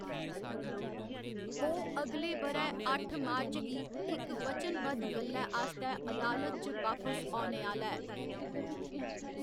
ओह्‌‌ अगले ब'रै अट्ठ मार्च गी इक वचनबद्ध गल्लै आस्तै अदालत च बापस औने आह्‌‌‌ला ऐ।